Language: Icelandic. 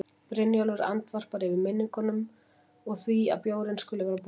Brynjólfur andvarpar, yfir minningunum og því að bjórinn skuli vera búinn.